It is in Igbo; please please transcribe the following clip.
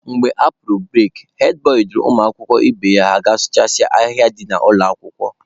Mgbe a pụrụ bureki, hed bọị duru ụmụakwụkwọ ibe ya ha gaa sụchasịa ahịhịa dị n'ụlọ akwụkwọ.